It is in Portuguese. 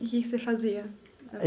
E que que você fazia?